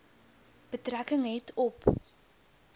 betrekking het op